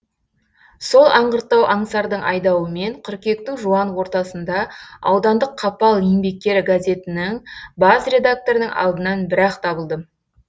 сол аңғырттау аңсардың айдауымен қыркүйектің жуан ортасында аудандық қапал еңбеккері газетінің бас редакторының алдынан бір ақ табылдым